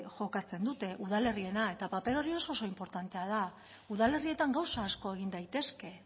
jokatzen dute udalerriena eta paper hori oso oso inportantea da udalerrietan gauza asko egin daitezke